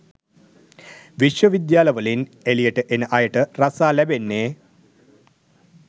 විශ්ව විද්‍යාල වලින් එලියට එන අයට රස්සා ලැබෙන්නේ?